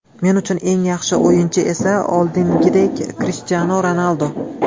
Men uchun eng yaxshi o‘yinchi esa oldingidek Krishtianu Ronaldu.